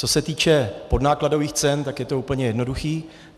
Co se týče podnákladových cen, tak je to úplně jednoduché.